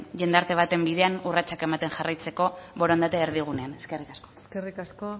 jendarte baten bidean urratsak ematen jarraitzeko borondatea erdigunean eskerrik asko eskerrik asko